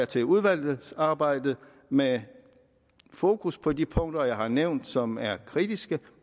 til udvalgsarbejdet med fokus på de punkter jeg har nævnt som er kritiske